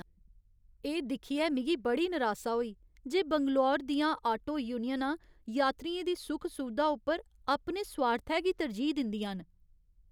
एह् दिक्खियै मिगी बड़ी नरासा होई जे बंगलूरू दियां आटो यूनियनां यात्रियें दी सुख सुवधा उप्पर अपने सुआर्थै गी तरजीह् दिंदियां न।